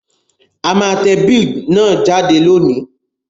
A má te bill náà jáde lónìí